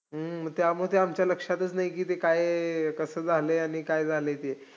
हम्म त्यामुळे ते आमच्या लक्षातच नाही की ते काये कसं झालंय, आणी काय झालंय ते.